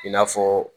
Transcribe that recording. I n'a fɔ